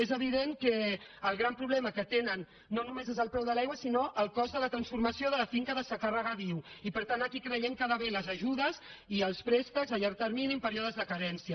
és evident que el gran problema que tenen no només és el preu de l’aigua sinó el cost de la transformació de la finca de secà a regadiu i per tant aquí creiem que hi ha d’haver les ajudes i els préstecs a llarg termini en períodes de carència